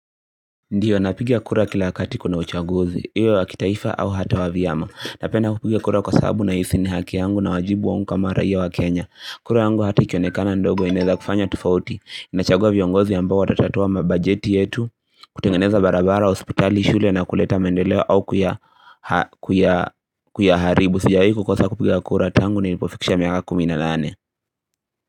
Ndiyo napigia kura kila wakati kuna uchaguzi. Iwe wa kitaifa au hata wa vyama. Napenda kupigia kura kwa sababu na hisi ni haki yangu nawajibu wangu kama raia wa Kenya. Kura yangu hata ikionekana ndogo inaeza kufanya tofauti. Nachagua viongozi ambao watatatua mabajeti yetu, kutengeneza barabara, hospitali, shule na kuleta maendeleo au kuyaharibu. Sijawai kukosa kupigia kura tangu nilipofikisha miaka kumi na nane.